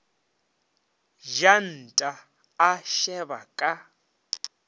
ja nta a šeba ka